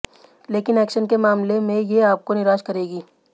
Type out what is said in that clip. लेकिन एक्शन के मामले में ये आपको निराश करेगी